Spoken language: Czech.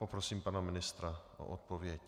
Poprosím pana ministra o odpověď.